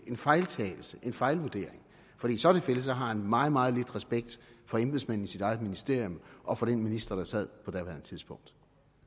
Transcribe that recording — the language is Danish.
en fejltagelse en fejlvurdering i så tilfælde har han meget meget lidt respekt for embedsmændene i sit eget ministerium og for den minister der sad på daværende tidspunkt